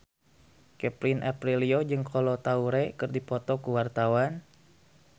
Kevin Aprilio jeung Kolo Taure keur dipoto ku wartawan